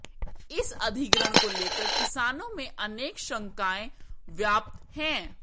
इस अधिग्रहण को लेकर किसानों में अनेक शंकाएं व्याप्त हैं